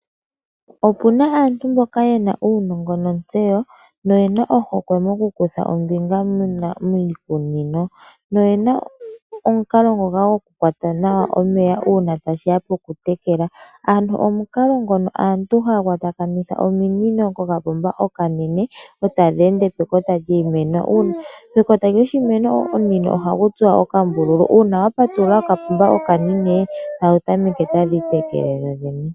Opuna aantu mboka yena uunongo nontseyo, na oyena ohokwe moku kutha ombinga miikunino. Oyena omukalo gwoku kwata nawa omeya ngele ta shiya poku tekela. Aantu omukalo ngoka aantu haya kwatakanitha ominino kopomba onene, etadhi ende pomakota giimeno. Pekota lyoshimeno omunino ohagu tsuwa okambululu, uuna wa patulula kopomba onene, dho tadhi tameke okutekela dhodhene.